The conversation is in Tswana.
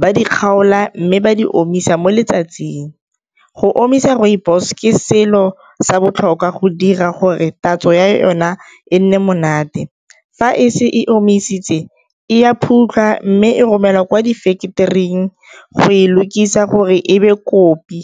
ba di kgaola mme ba di omisa mo letsatsing. Go omisa rooibos ke selo sa botlhokwa go dira gore tatso ya yona e nne monate, fa e se e omisitse e a mme e romelwa kwa di factory-ing go e lokisa gore ebe kopi.